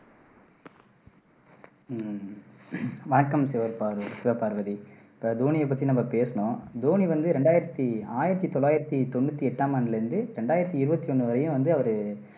ஹம் வணக்கம் சிவபார்வ சிவபார்வதி இப்போ தோனியை பத்தி நம்ம பேசுனோம் தோனி வந்து ரெண்டாயிரத்தி ஆயிரத்தி தொள்ளாயிரத்தி தொண்ணூத்தி எட்டாம் ஆண்டுல இருந்து ரெண்டாயிரத்தி இருவத்தி ஒண்ணு வரையும் வந்து அவரு